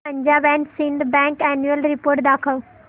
Punjab and Sind bank annual report दाखव